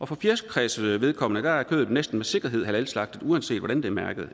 for fjerkræs vedkommende er kødet næsten med sikkerhed halalslagtet uanset hvordan det er mærket